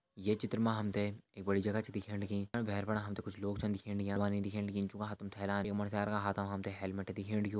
ये चित्र मा हम तें एक बड़ी जगह च दिखेण लगी जफणा भैर फणा हमते कुछ लोग छन दिखेण लग्यां बैरवानी दिखेण लगीं जूं का हाथम थैलान य मुंडस्यारू का हाथ मा हलमेट दिखेण लग्युं।